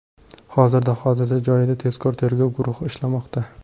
Hozirda hodisa joyida tezkor-tergov guruhi ishlamoqda.